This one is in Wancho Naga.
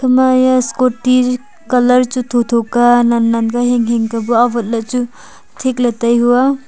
hama yeh scooty colour chu tho tho ka nan nan ka hing hing ka bu awat ley chu thik tai hua.